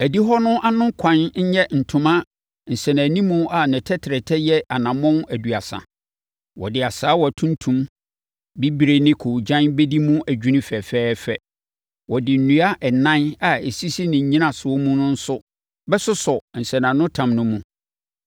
“Adihɔ hɔ no ano ɛkwan nyɛ ntoma nsɛnanimu a ne tɛtrɛtɛ yɛ anammɔn aduasa. Wɔde asaawa tuntum, bibire ne koogyan bɛdi mu adwini fɛfɛɛfɛ. Wɔde nnua ɛnan a ɛsisi ne nnyinasoɔ mu no nso bɛsosɔ nsɛnanotam no mu.